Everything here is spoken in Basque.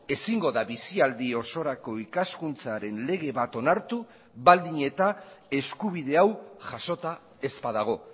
ezingo da bizialdi osorako ikaskuntzaren lege bat onartu baldin eta eskubide hau jasota ez badago